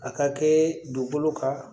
A ka kɛ dugukolo kan